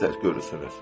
Nə məsləhət görürsünüz?